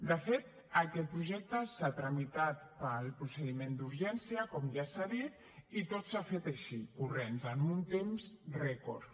de fet aquest projecte s’ha tramitat pel procediment d’urgència com ja s’ha dit i tot s’ha fet així corrents en un temps rècord